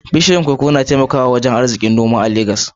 Bishiyoyin koko na taimakawa wajen arzikin noma a Legas.